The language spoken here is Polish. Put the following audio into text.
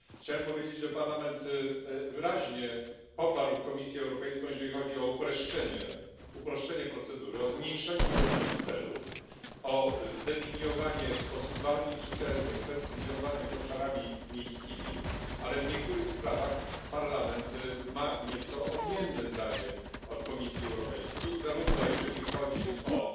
Chciałbym powiedzieć, że Parlament wyraźnie poparł Komisję Europejską, jeżeli chodzi o uproszczenie procedury, o zmniejszenie ilości celów, o zdefiniowanie w sposób bardziej czytelny kwestii związanych z obszarami miejskimi, ale w niektórych sprawach Parlament ma nieco odmienne zdanie od Komisji Europejskiej, również jeżeli chodzi o